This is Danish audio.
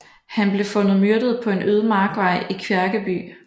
Han blev fundet myrdet på en øde markvej i Kværkeby